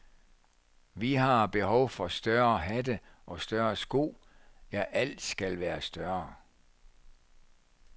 Vi har behov for større hatte og større sko, ja, alt skal være større.